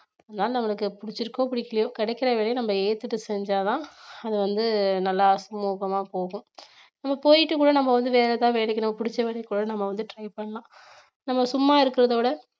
அதனால நம்மளுக்கு பிடிச்சிருக்கோ பிடிக்கலையோ கிடைக்கிற வேலைய நம்ம ஏத்துட்டு செஞ்சாதான் அது வந்து நல்லா சுமூகமா போகும் நம்ம போயிட்டு கூட நம்ம வந்து வேற ஏதாவது வேலைக்கு நம்ம பிடிச்ச வேலைக்கு கூட நம்ம வந்து try பண்ணலாம் நம்ம சும்மா இருக்கிறத விட